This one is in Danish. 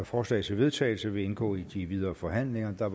forslag til vedtagelse vil indgå i de videre forhandlinger der